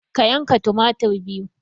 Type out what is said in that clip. Ka yanka tumatir biyu